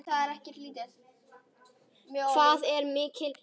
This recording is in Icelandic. Hvað er mikill hiti?